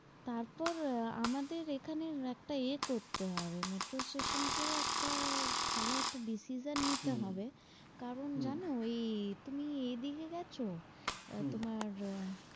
তারপর আহ আমাদের এখানের একটা এ করতে হবে metro station কেউ একটা ভালো একটা decision নিতে হবে কারণ জানো হম ওই তুমি এদিকে গেছো? আহ তোমার